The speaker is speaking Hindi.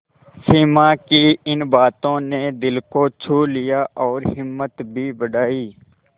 सिमा की इन बातों ने दिल को छू लिया और हिम्मत भी बढ़ाई